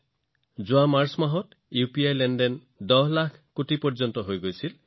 যোৱা বছৰৰ মাৰ্চ মাহত ইউপিআইৰ লেনদেন প্ৰায় ১০ লাখ কোটি টকাত উপনীত হৈছিল